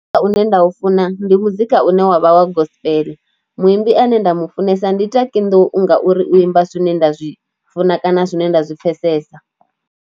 Muzika une nda u funa ndi muzika une wavha wa gospel, muimbi ane nda mu funesa ndi Taki Nḓou ngauri u imba zwine nda zwi funa kana zwine nda zwi pfhesesa.